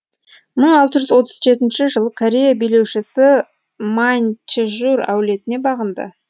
мың алты жүз отыз жетінші жылы корея билеушісі маньчжур әулетіне бағынды